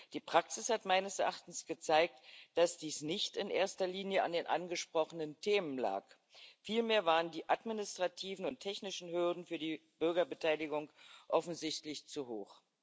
Die Praxis hat meines Erachtens gezeigt, dass dies nicht in erster Linie an den angesprochenen Themen lag, vielmehr waren die administrativen und technischen Hürden für die Bürgerbeteiligung offensichtlich zu hoch.